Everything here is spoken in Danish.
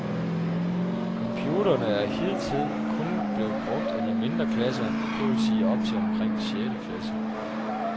Computerne er hidtil kun blevet brugt af de mindre klasser, det vil sige op til omkring sjette klasse.